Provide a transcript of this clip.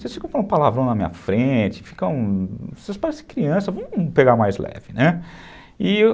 Vocês ficam falando palavrão na minha frente, ficam... Vocês parecem criança, vamos pegar mais leve, né? E